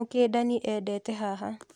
Mũkĩndani endete haha.